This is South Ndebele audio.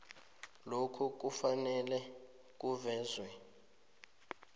lokhu kufanele kuvezwe